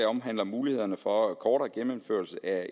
omhandler mulighederne for en kortere genindførelse af